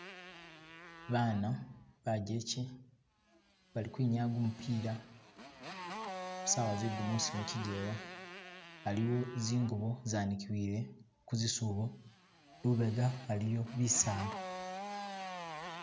Bana bajeche bali kwinyaya gumupila sawa zegumusi muchijewa haliwo zingubo zanikiwile kuzisubo lubega haliwo bisaala.